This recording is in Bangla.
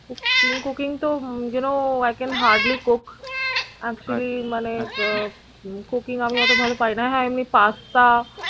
cooking তো you know i can hardly cook actually মানে আহ cooking আমি এত ভালো পারি না, হ্যাঁ এমনি pasta